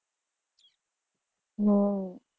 હમ